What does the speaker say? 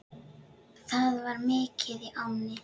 Það var mikið í ánni.